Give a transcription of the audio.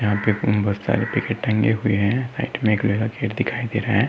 यहाँ पर बहोत सारे टंगे हुए है। दिखाई दे रहा है।